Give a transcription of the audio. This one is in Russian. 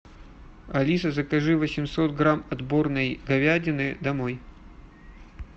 алиса закажи восемьсот грамм отборной говядины домой